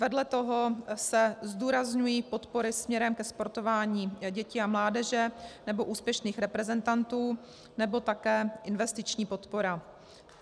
Vedle toho se zdůrazňují podpory směrem ke sportování dětí a mládeže nebo úspěšných reprezentantů nebo také investiční podpora.